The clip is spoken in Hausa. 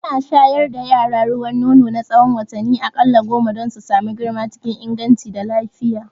Ana shayar da yara ruwan nono na tsahon watanni a ƙalla goma don su samu girma cikin inganci da lafiya